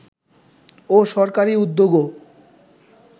ও সরকারী উদ্যোগও